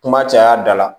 Kuma caya da la